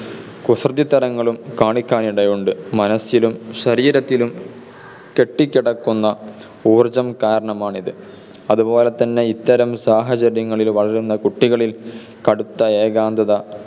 കുസൃതിത്തരങ്ങളും കാണിക്കാൻ ഇടയുണ്ട്. മനസിലും ശരീരത്തിലും കെട്ടിക്കിടക്കുന്ന ഊർജം കാരണമാണിത്. അതുപോലെതന്നെ ഇത്തരം സാഹചര്യങ്ങളിൽ വളരുന്ന കുട്ടികളിൽ കടുത്ത ഏകാന്തത